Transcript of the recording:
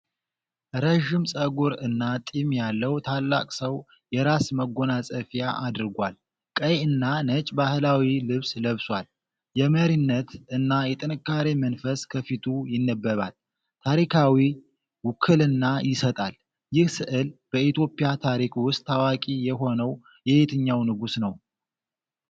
ረዥም ፀጉር እና ጢም ያለው ታላቅ ሰው የራስ መጎናፀፊያ አድርጓል። ቀይ እና ነጭ ባህላዊ ልብስ ለብሷል። የመሪነት እና የጥንካሬ መንፈስ ከፊቱ ይነበባል። ታሪካዊ ውክልና ይሰጣል። ይህ ስዕል በኢትዮጵያ ታሪክ ውስጥ ታዋቂ የሆነው የየትኛው ንጉሥ ነው?